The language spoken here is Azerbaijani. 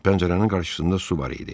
Pəncərənin qarşısında su var idi.